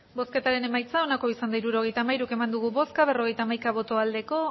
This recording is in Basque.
hirurogeita hamairu eman dugu bozka berrogeita hamaika bai